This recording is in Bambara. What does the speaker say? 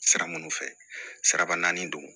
Sira minnu fɛ siraba naani don